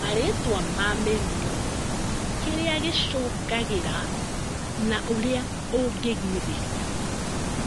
Marĩtwa ma mĩrimũ, kĩria gĩcũngagĩrĩra na ũrĩa ũngĩgirĩria